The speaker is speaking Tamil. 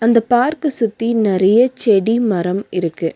அந்த பார்க்க சுத்தி நெறைய செடி மரம் இருக்கு.